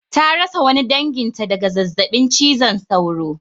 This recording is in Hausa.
Ta rasa wani danginta daga zazzabin cizon sauro.